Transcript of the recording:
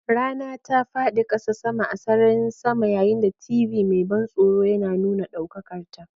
Rana ta faɗi ƙasa, sama a sararin sama, yayin da TV mai ban tsoro yana nuna ɗaukakarta.